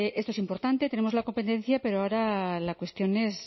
esto es importante tenemos la competencia pero ahora la cuestión es